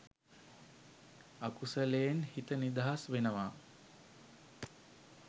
අකුසලයෙන් හිත නිදහස් වෙනවා